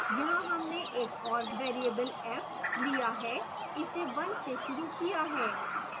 यहाँ हमने एक और variable f लिया है इसे 1 से शुरू किया है